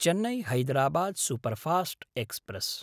Chennai Hyderabad superfast express